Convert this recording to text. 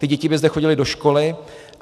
Ty děti by zde chodily do školy.